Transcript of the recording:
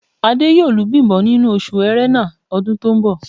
Adé yóò lu Bím̀bọ́ nínú oṣù Ẹrẹ́nà ọdún tó ń bọ̀